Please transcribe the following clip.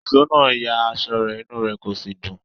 Ìṣó náà ya aṣọ rẹ̀, inú rẹ̀ kò sì dùn.